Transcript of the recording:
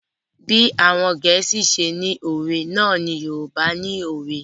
Bí àwọn Gẹ̀ẹ́sì ṣe ni òwe náà ni Yorùbá ni òwe.